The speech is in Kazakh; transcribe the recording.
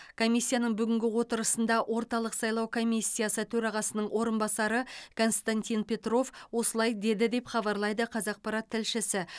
комиссияның бүгінгі отырысында орталық сайлау комиссиясы төрағасының орынбасары константин петров осылай деді деп хабарлайды қазақпарат тілшісі